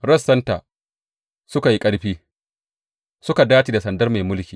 Rassanta suka yi ƙarfi, suka dace da sandar mai mulki.